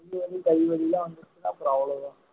கை வலி எல்லாம் வந்ததுன்னா அப்புறம் அவ்வளவுதான்